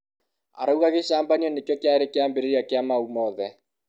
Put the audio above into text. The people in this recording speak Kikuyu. arauga gĩcambanio nĩkio kĩare kĩambĩrĩria kia mau mothe